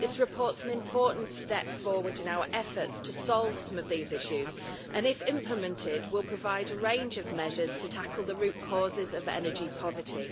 This report is an important step forward in our efforts to solve some of these issues and, if implemented, will provide a range of measures to tackle the root causes of energy poverty.